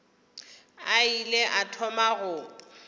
a ile a thoma go